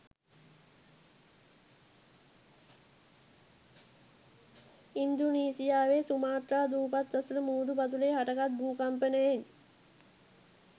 ඉන්දුනීසියාවේ Sumatra දූපත් අසල මුහුදු පතුලේ හටගත් භූ කම්පනයෙන්